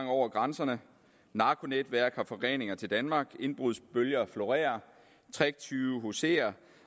over grænserne narkonetværk har forgreninger til danmark indbrudsbølger florerer tricktyve huserer